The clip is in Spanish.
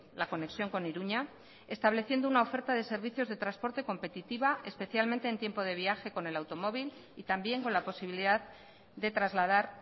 la conexión con iruña estableciendo una oferta de servicios de transporte competitiva especialmente en tiempo de viaje con el automóvil y también con la posibilidad de trasladar